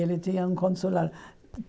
Ele tinha um consulado.